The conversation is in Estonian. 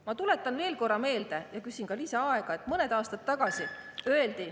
Ma tuletan veel kord meelde – ja küsin ka lisaaega –, et mõned aastad tagasi öeldi …